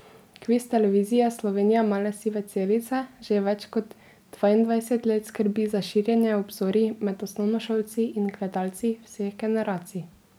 Kviz Televizije Slovenija Male sive celice že več kot dvaindvajset let skrbi za širjenje obzorij med osnovnošolci in gledalci vseh generacij.